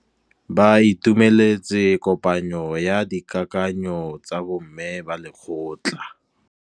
Ba itumeletse kôpanyo ya dikakanyô tsa bo mme ba lekgotla.